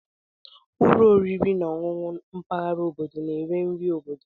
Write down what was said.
Ụlọ oriri na ọṅụṅụ mpaghara obodo na-ere nri obodo.